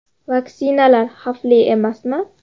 Vaksinalar xavfli emasmi?